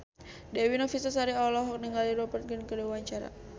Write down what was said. Dewi Novitasari olohok ningali Rupert Grin keur diwawancara